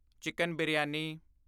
chicken biryani